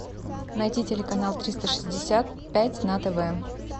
найти телеканал триста шестьдесят пять на тв